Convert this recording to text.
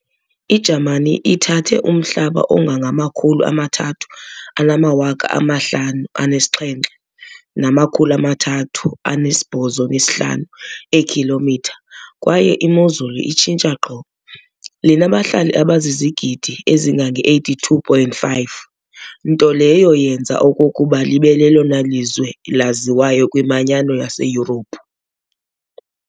I-Jamani ithathe umhlaba ongangama-357,385 eekhilomitha kwaye imozulu itshintsha qho. Linabahlali abazizigidi ezingama-82.5, nto leyo yenza okokuba libe lelona lizwe laziwayo kwiManyano yaseYurophu.